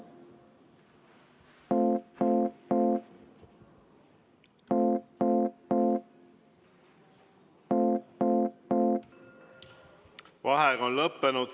Vaheaeg on lõppenud.